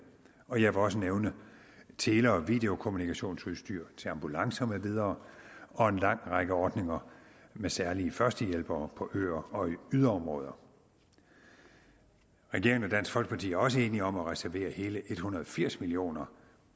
og jeg vil også nævne tele og videokommunikationsudstyr til ambulancer med videre og en lang række ordninger med særlige førstehjælpere på øer og i yderområder regeringen og dansk folkeparti er også enige om at reservere hele en hundrede og firs million